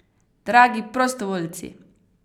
Dragi prostovoljci!